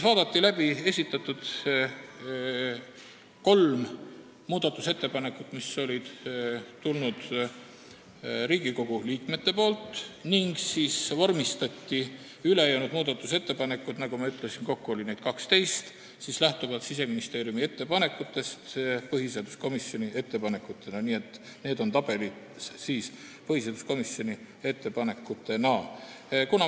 Vaadati läbi kolm muudatusettepanekut, mis olid tulnud Riigikogu liikmetelt, ning siis vormistati ülejäänud muudatusettepanekud – nagu ma ütlesin, kokku oli neid 12 – lähtuvalt Siseministeeriumi ettepanekust põhiseaduskomisjoni ettepanekutena, nii et need on tabelis kirjas põhiseaduskomisjoni ettepanekutena.